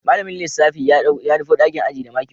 Malamin lissafi ya nufo dakin ajin da maki hudu